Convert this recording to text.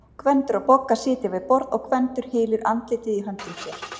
Gvendur og Bogga sitja við borð og Gvendur hylur andlitið í höndum sér.